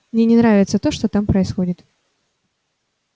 мне не нравится то что там происходит